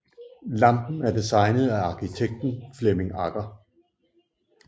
Lampen er designet af arkitekten Flemming Agger